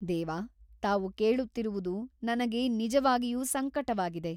ದೇವ ತಾವು ಕೇಳುತ್ತಿರುವುದು ನನಗೆ ನಿಜವಾಗಿಯೂ ಸಂಕಟವಾಗಿದೆ.